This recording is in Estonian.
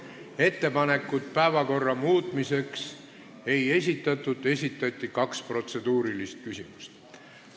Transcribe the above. Ettepanekuid päevakorra muutmiseks ei esitatud, kuid esitati kaks protseduurilist küsimust.